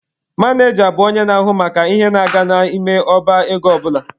Maneja bụ onye na-ahụ maka ihe na-aga n'ime ọba ego ọ bụla.